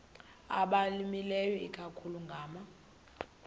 abalimileyo ikakhulu ngama